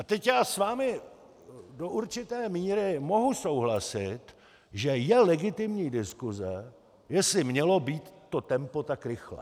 A teď já s vámi do určité míry mohu souhlasit, že je legitimní diskuse, jestli mělo být to tempo tak rychlé.